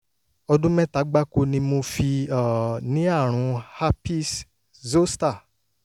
ọdún mẹ́ta gbáko ni mo fi um ní àrùn herpes zoster